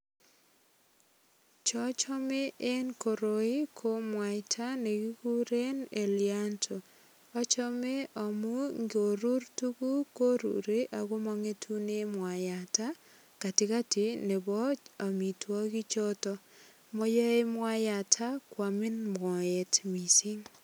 Chochome eng koroi ko mwaita ne kikuren elianto. Achame amu ngurur tuguk koruri ago mongetune mwaiyato katigati nebo amitwogichoto. Mayoe mwayata kwamin moet mising.